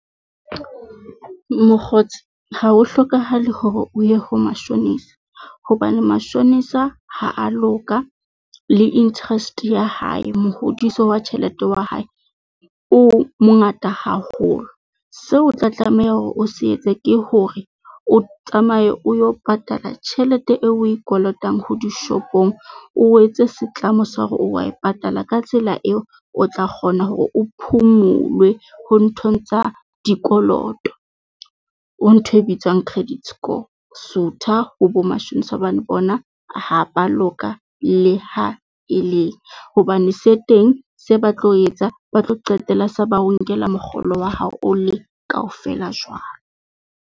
Mokgotsi ha ho hlokahale hore o ye ho mashonisa, hobane mashonisa ha a loka le interest ya hae, mohodiso wa tjhelete ya hae o mongata haholo. Seo o tla tlameha hore o se etse ke hore o tsamaye o yo patala tjhelete eo oe kolotang ho dishopong. O etse setlamo sa hore wa e patala ka tsela eo o tla kgona hore o phumulwe ho nthong tsa dikoloto. Ho ntho e bitswang credit score. Sutha ho bo mashonisa hobane bona ha ba loka le ha e le hobane se teng se ba tlo etsa ba tlo qetella se ba o nkela mokgolo wa hao o le kaofela jwalo.